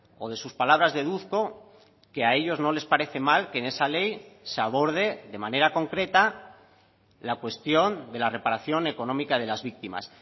o de sus palabras deduzco que a ellos no les parece mal que en esa ley se aborde de manera concreta la cuestión de la reparación económica de las víctimas